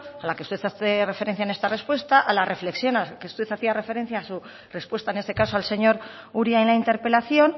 a la que usted hace referencia en esta respuesta a la reflexión a la que usted hacía referencia en este caso al señor uria en la interpelación